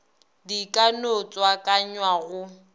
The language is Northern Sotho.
di ka no tswakanywa go